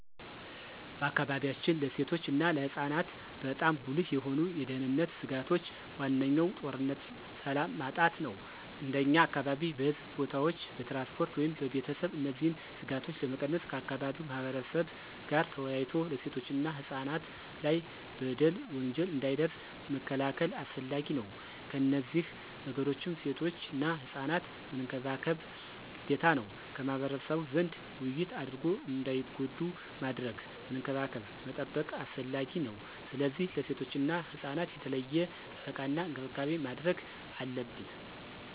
በአካባቢያችን ለሴቶች እና ለህፃናት በጣም ጉልህ የሆኑ የደህንነት ስጋቶች ዋነኛው ጦርነትና ሰላም ማጣት ነው። እንደኛ አካባቢ በሕዝብ ቦታዎች፣ በትራንስፖርት ወይም በቤተሰብ እነዚህን ስጋቶች ለመቀነስ ከአካባቢው ማህበረብ ጋር ተወያይቶ ሴቶችና ህፃናት ላይ በደል፣ ወንጀል እንዳይደርስ መከላከል አስፈላጊ ነው። ከነዚህ ነገሮችም ሴቶችና ህፃናት መንከባከብ ግዴታ ነው። ከማህበረሰቡ ዘንድ ውይይት አድርጎ እንዳይጎዱ ማድረግ፣ መንከባከብ መጠበቅ አስፈላጊ ነው። ስለዚህ ለሴቶችና ህፃናት የተለየ ጥበቃና እንክብካቤ ማድረግ አለብን።